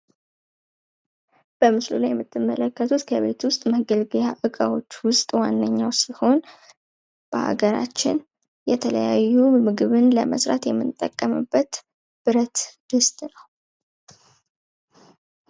በምስሉ ላይ የምትመለከቱት ከቤት ውስጥ መገልገያ እቃዎች ውስጥ ዋነኛው ሲሆን በሀገራችን የተያዩ ምግብን ለመስራትየምንጠቀምበት ብረት ድስት ነው።